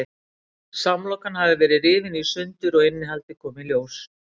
Samlokan hafði verið rifin í sundur og innihaldið kom í ljós.